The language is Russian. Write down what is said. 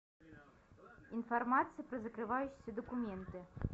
информация про закрывающиеся документы